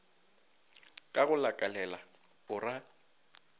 ka go lakalela o ra